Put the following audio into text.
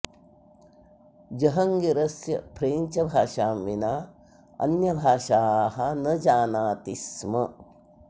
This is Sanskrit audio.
जहङ्गीरस्य फ्रेञ्च् भाषां विना अन्यभाषाः न जानाति स्म